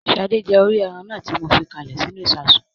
Sadé jẹ orí ẹran náà tí mo fi káalè sínú ìsasùn